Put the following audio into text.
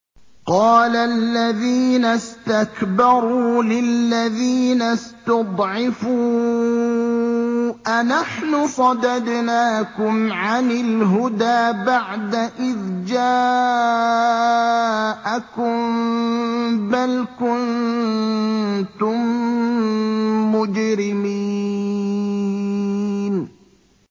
قَالَ الَّذِينَ اسْتَكْبَرُوا لِلَّذِينَ اسْتُضْعِفُوا أَنَحْنُ صَدَدْنَاكُمْ عَنِ الْهُدَىٰ بَعْدَ إِذْ جَاءَكُم ۖ بَلْ كُنتُم مُّجْرِمِينَ